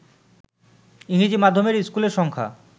ইংরেজি মাধ্যমের স্কুলের সংখ্যা